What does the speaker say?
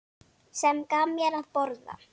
Sem gaf mér að borða.